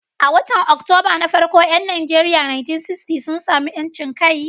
A watan Oktoba na farko 'yan Najeriya 1960 sun sami 'yancin kai.